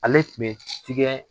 Ale tun bɛ tigɛ